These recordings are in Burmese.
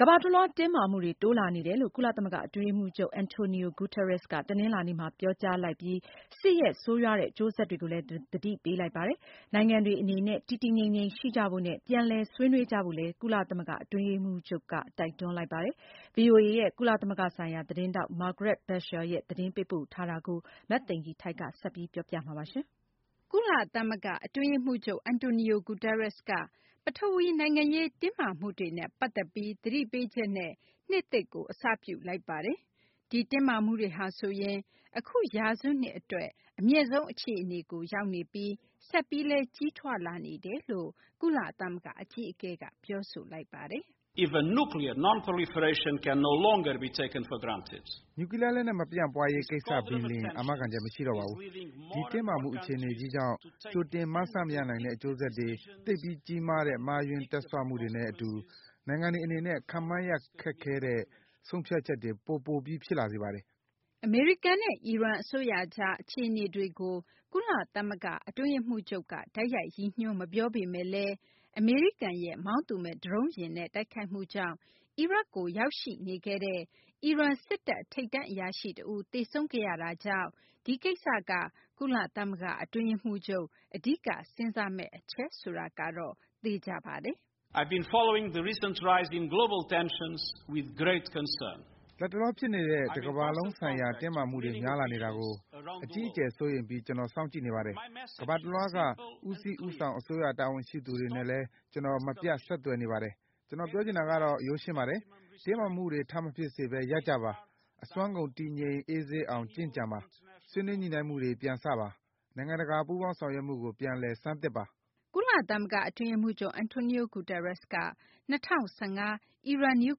ကမ္ဘာတလွှား တင်းမာမှုတွေ တိုးလာနေတယ်လို့ ကုလသမဂ္ဂ အတွင်းရေးမှူးချုပ် Antonio Guterres က တနလာၤနေ့မှာ ပြောကြားလိုက်ပြီး စစ်ရဲ့ ဆိုးရွားတဲ့ အကျိုးဆက်တွေကိုလည်း သတိပေးလိုက်ပါတယ်။ နိုင်ငံတွေ အနေနဲ့ တည်တည်ငြိမ်ငြိမ် ရှိကြဖို့နဲ့ ပြန်လည် ဆွေးနွေးကြဖို့လည်း ကုလသမဂ္ဂ အတွင်းရေးမှူးချုပ်က တိုက်တွန်းလိုက်ပါတယ်။ ဗွီအိုအေရဲ့ ကုလသမဂ္ဂဆိုင်ရာ သတင်းထောက် Margaret Besheer သတင်းပေးပို့ထားတာကို မသိင်္ဂ ီထိုက် ပြောပြပေးမှာပါ။ ကုလသမဂ္ဂ အတွင်းရေးမှူးချုပ် Antonio Guterres က ပထဝီဝင် နိုင်ငံရေး တင်းမာမှုတွေနဲ့ ပတ်သက်ပြီး သတိပေးချက်နဲ့ နှစ်သစ်ကို အစပြုလိုက်ပါတယ်။ ဒီ တင်းမာမှုတွေဟာဆိုရင် အခု ရာစုနှစ် အတွက် အမြင့်ဆုံး အခြေအနေကို ရောက်နေပြီး ဆက်ပြီးလည်း ကြီးထွားလာနေတယ်လို့ ကုလသမဂ္ဂ အကြီးအကဲက ပြောဆိုလိုက်ပါတယ်။ “နျူးကလီးယား လက်နက် မပြန့်ပွားရေး ကိစ္စ ပင်လျင် အာမခံချက် မရှိတော့ပါဘူး။ ဒီ တင်းမာမှု အခြေအနေကြီးကြောင့် ကြိုတင်မှန်းဆ မရနိုင်တဲ့ အကျိုးဆက်တွေ၊ သိပ်ပြီး ကြီးမားတဲ့ မှားယွင်း တွက်ဆမှုတွေနဲ့ အတူ နိုင်ငံတွေ အနေနဲ့ ခန့်မှန်းရခက်တဲ့ ဆုံးဖြတ်ချက်တွေ ပိုပြီး ပိုပြီး ဖြစ်လာစေပါတယ်။” အမေရိကန်နဲ့ အီရန် အစိုးရကြား အခြေအနေတွေကို ကုလသမဂ္ဂ အတွင်းရေးမှူးချုပ်က တိုက်ရိုက် ရည်ညွှန်း မပြောပေမယ့်လည်း အမေရိကန်ရဲ့ မောင်းသူမဲ့ ဒရုန်းယာဉ်နဲ့ တိုက်ခိုက်မှုကြောင့် အီရတ်ကို ရောက်ရှိနေခဲ့တဲ့ အီရန် စစ်တပ် ထိပ်တန်း အရာရှိ တဦး သေဆုံးခဲ့ရတာကြောင့် ဒီကိစ္စက ကုလသမဂ္ဂ အတွင်းရေးမှူးချုပ် အဓိက စဉ်းစားမယ့် အချက်ဆိုတာကတော့ သေချာပါတယ်။ “လက်တလော ဖြစ်နေတဲ့ တကမ္ဘာလုံး ဆိုင်ရာ တင်းမာမှုတွေ များလာနေတာကို အကြီးအကျယ် စိုးရိမ်ပြီး ကျနော် စောင့်ကြည့်နေပါတယ်။ ကမ္ဘာတလွှားက ဦးစီး ဦးဆောင် အစိုးရ တာဝန်ရှိသူတွေ နဲ့လည်း ကျနော် မပြတ် ဆက်သွယ်နေပါတယ်။ ကျနော် ပြောချင်တာကတော့ ရိုးရှင်းပါတယ်။ တင်းမာမှုတွေ ထပ်မဖြစ်စေဘဲ ရပ်ကြပါ။ အစွမ်းကုန် တည်ငြိမ် အေးဆေးအောင် ကျင့်ကြံပါ။ ဆွေးနွေးညှိနှိုင်းမှုတွေ ပြန်စပါ။ နိုင်ငံတကာ ပူးပေါင်းဆောင်ရွက်မှုကို ပြန်လည် ဆန်းသစ်ပါ။” ကုလသမဂ္ဂ အတွင်းရေးမှူးချုပ် Antonio Guterres က ၂၀၁၅ အီရန် နျူး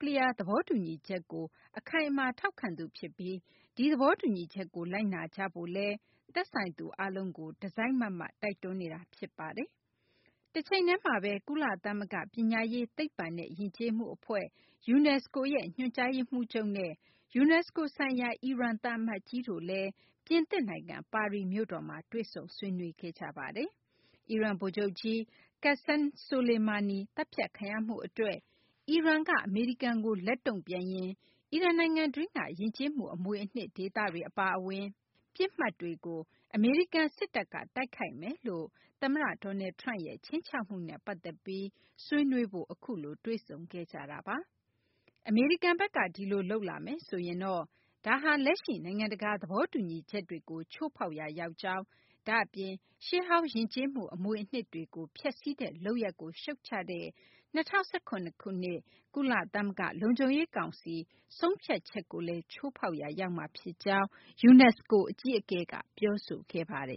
ကလီးယား သဘောတူညီချက်ကို အခိုင်အမာ ထောက်ခံသူ ဖြစ်ပြီး ဒီသဘောတူညီချက်ကို လိုက်နာကြဖို့လည်း သက်ဆိုင်သူ အားလုံးကို တစိုက်မတ်မတ် တိုက်တွန်းနေတာ ဖြစ်ပါတယ်။ တချိန်တည်းမှာဘဲ ကုလသမဂ္ဂ ပညာရေး သိပ္ပံနဲ့ ယဉ်ကျေးမှု အဖွဲ့ UNESCO ရဲ့ ညွှန်ကြားရေးမှူးချုပ်နဲ့ UNESCO ဆိုင်ရာ အီရန် သံအမတ်ကြီးတို့လည်း ပြင်သစ်နိုင်ငံ ပါရီမြို့တော်မှာ တွေ့ဆုံခဲ့ကြပါတယ်။ အီရန် ဗိုလ်ချုပ်ကြီး Qassem Soleimani သတ်ဖြတ်ခံရမှု အတွက် အီရန်က အမေရိကန်ကို လက်တုံ့ပြန်ရင် အီရန်နိုင်ငံတွင်းက ယဉ်ကျေးမှု အမွေအနှစ် ဒေသတွေ အပါအဝင် ပစ်မှတ်တွေကို အမေရိကန် စစ်တပ်က တိုက်ခိုက်မယ်လို့ သမ္မတ Donald Trump ရဲ့ ခြိမ်းခြောက်မှုနဲ့ ပတ်သက်ပြီး ဆွေးနွေးဖို့ အခုလို တွေ့ဆုံကြတာပါ။ အမေရိကန်ဘက်က ဒီလို လုပ်လာမယ်ဆိုရင်တော့ ဒါဟာ လက်ရှိ နိုင်ငံတကာ သဘောတူညီချက်တွေကို ချိုးဖောက်ရာ ရောက်ကြောင်း၊ ဒါ့အပြင် ရှေးဟောင်း ယဉ်ကျေးမှု အမွေအနှစ်တွေကို ဖျက်ဆီးတဲ့ လုပ်ရပ်ကို ရှုတ်ချတဲ့ ၂၀၁၇ ခုနှစ်က ကုလသမဂ္ဂ လုံခြုံရေး ကောင်စီ ဆုံးဖြတ်ချက်ကိုလည်း ချိုးဖောက်ရာ ရောက်မှာ ဖြစ်ကြောင်း UNESCO အကြီးအကဲက ပြောဆိုခဲ့ပါတယ်